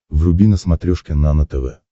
вруби на смотрешке нано тв